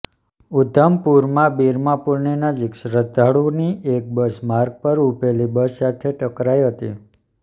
ઉધમપુરમાં બિરમા પુલની નજીક શ્રદ્ધાળુઓની એક બસ માર્ગ પર ઉભેલી બસ સાથે ટકરાઈ હતી